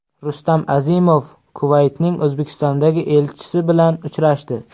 Rustam Azimov Kuvaytning O‘zbekistondagi elchisi bilan uchrashdi.